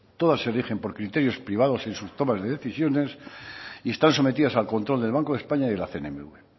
todas se rigen por criterios privados en sus tomas de decisiones y están sometidas al control del banco de españa y la cnmv